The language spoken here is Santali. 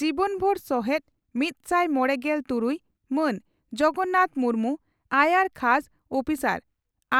ᱡᱤᱵᱚᱱᱵᱷᱩᱨ ᱥᱚᱦᱮᱛᱫ ᱢᱤᱛᱥᱟᱭ ᱢᱚᱲᱮᱜᱮᱞ ᱛᱩᱨᱩᱭ ᱹ ᱢᱟᱱ ᱡᱚᱜᱚᱱᱱᱟᱛᱷ ᱢᱩᱨᱢᱩ, ᱾ᱟᱭᱟᱨ ᱠᱷᱟᱥ ᱩᱯᱤᱥᱟᱨ,